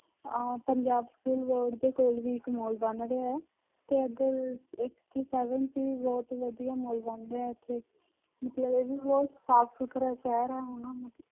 ਅਹ Punjab school board ਦੇ ਕੋਲ ਵੀ ਇੱਕ ਮਾਲ ਬਣ ਰਿਹਾ ਹੈ, ਤੇ ਇੱਧਰ ਇੱਕ ਇੱਥੇ seven ਚ ਵੀ ਬਹੁਤ ਵਧੀਆ ਮਾਲ ਬਣ ਰਿਹਾ ਇੱਥੇ ਮਤਲਬ ਇਹ ਵੀ ਬਹੁਤ ਸਾਫ਼ ਸੁਥਰਾ ਸ਼ਹਿਰ ਹੈ ਹੁਣ।